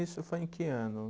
Isso foi em que ano?